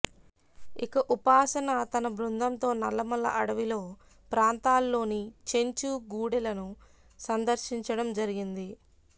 ఇక ఉపాసన తన బృందంతో నల్లమల్ల అడవిలో ప్రాంతాల్లోని చెంచు గూడెలను సందర్శించడం జరిగింది